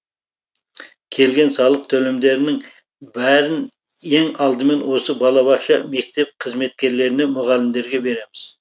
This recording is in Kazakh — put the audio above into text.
келген салық төлемдерінің бәрін ең алдымен осы балабақша мектеп қызметкерлеріне мұғалімдерге береміз